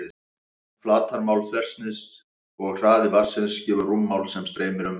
Flatarmál þversniðsins og hraði vatnsins gefur rúmmál sem streymir fram.